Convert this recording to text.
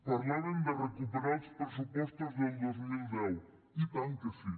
parlaven de recuperar els pressupostos del dos mil deu i tant que sí